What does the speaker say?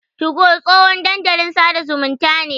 2go tsohon dandalin sada zumunta ne.